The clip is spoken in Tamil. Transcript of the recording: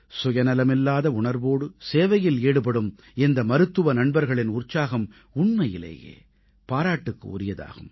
சுயநலமில்லாத உணர்வோடு சேவையில் ஈடுபடும் இந்த மருத்துவ நண்பர்களின் உற்சாகம் உண்மையிலேயே பாராட்டுக்கு உரியதாகும்